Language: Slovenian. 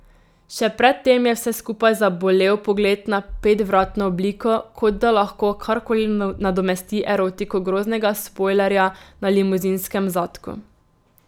Še pred tem je vse skupaj zabolel pogled na petvratno obliko, kot da lahko karkoli nadomesti erotiko groznega spojlerja na limuzinskem zadku.